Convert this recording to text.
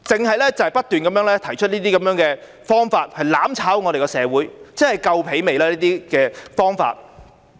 他們只是不斷地提出這些方法來"攬炒"社會，這些方法他們做夠了嗎？